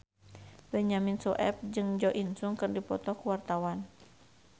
Benyamin Sueb jeung Jo In Sung keur dipoto ku wartawan